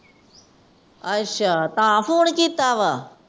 ਅੱਛਾ ਤਾਂ ਫੋਨ ਕੀਤਾ ਵਾ ।